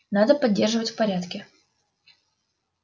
надо поддерживать в порядке